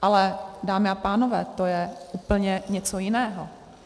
Ale dámy a pánové, to je úplně něco jiného.